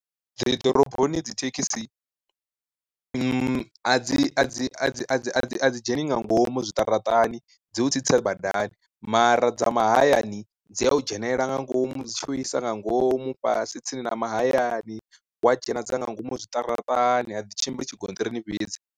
Dzi ḓoroboni dzi thekhisi dzi a dzi a dzi a dzi dzheni nga ngomu zwiṱaraṱani dzi u tsitsa badani, mara dza mahayani dzi a u dzhenelela nga ngomu dzi tshi u isa nga ngomu fhasi tsini na mahayani wa dzhena dza nga ngomu zwiṱaraṱani a dzi tshimbili tshigonṱirini fhedzi.